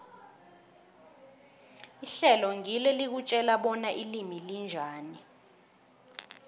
ihlelo ngilo elikutjela bona ilimi linjani